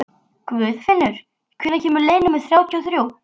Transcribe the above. Guðfinnur, hvenær kemur leið númer þrjátíu og þrjú?